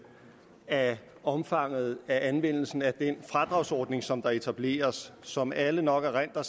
af omfanget af anvendelsen af den fradragsordning som etableres som alle nok erindrer